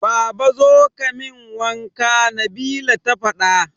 Baba kazo kamin wanka Nabila ta fada